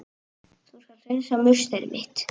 Þú skalt hreinsa musteri mitt!